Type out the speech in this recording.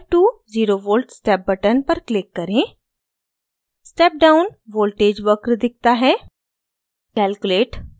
फिर 5 to 0v step button पर click करें step down voltage वक्र दिखता है